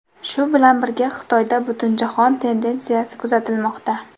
Shu bilan birga, Xitoyda butunjahon tendensiyasi kuzatilmoqda.